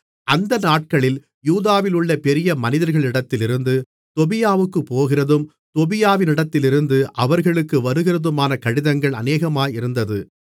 அந்த நாட்களில் யூதாவிலுள்ள பெரிய மனிதர்களிடத்திலிருந்து தொபியாவுக்குப் போகிறதும் தொபியாவினிடத்திலிருந்து அவர்களுக்கு வருகிறதுமான கடிதங்கள் அநேகமாயிருந்தது